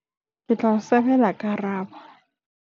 ke tla o sebela karabo